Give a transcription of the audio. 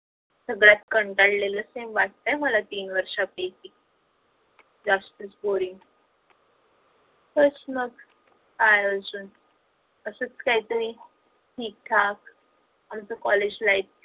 सगळ्यात कंटाळलेल sem वाटतंय मला तीन वर्षा पैकी जास्तच boring तेच ना काय अजून असच काहीतरी ठीक ठाक आमच college life